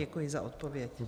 Děkuji za odpověď.